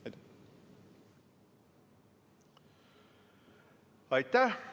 Aitäh!